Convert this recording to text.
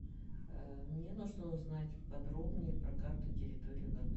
мне нужно узнать подробнее про карту территории в отеле